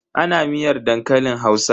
Ana miyar dankalin Hausa?